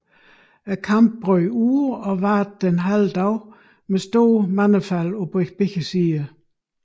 Kampen brød ud og varede den halve dag med stort mandefald på begge sider